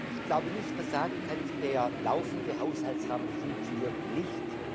Ich glaube nicht, dass man sagen kann Der laufende Haushaltsrahmen funktioniert nicht.